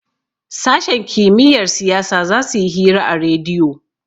sashen kimiyyar siyasa za su yi hira a rediyo